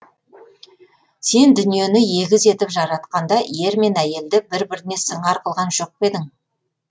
сен дүниені егіз етіп жаратқанда ер мен әйелді бір біріне сыңар қылған жоқ па едің